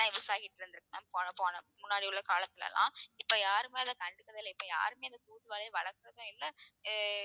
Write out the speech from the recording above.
use ஆகிட்டு இருந்திருக்கு ma'am போன போன முன்னாடி உள்ள காலத்துல எல்லாம் இப்ப யாருமே அத கண்டுக்கறது இல்லை இப்ப யாருமே அந்த தூதுவளையை வளர்க்கறது இல்ல